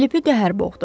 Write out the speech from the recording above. Filipi qəhər boğdu.